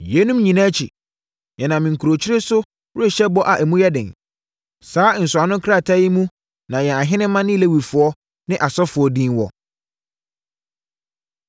“Yeinom nyinaa akyi, yɛnam nkurukyire so rehyɛ bɔ a emu yɛ den. Saa nsɔano krataa yi mu na yɛn ahenemma ne Lewifoɔ ne asɔfoɔ din wɔ.”